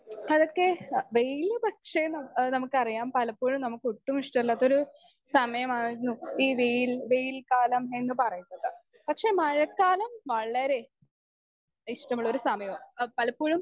speaker 2 അതൊക്കെ daily പക്ഷെ നമ്മ് എഹ് നമ്മുക്കറിയ്യാം പലപ്പോഴും നമ്മുക്ക് ഒട്ടും ഇഷ്ട്ടല്ലാത്തൊരു സമയമാണ് ഈ വെയിൽ വെയിൽ കാലം എന്ന് പറയുന്നത് പക്ഷെ മഴക്കാലം വളരെ ഇഷ്ട്ടമുള്ളൊരു സമയാ ആ പലപ്പോഴും